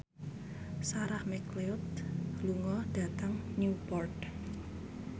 Sarah McLeod lunga dhateng Newport